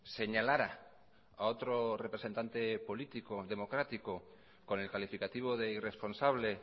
señalara a otro representante político democrático con el calificativo de irresponsable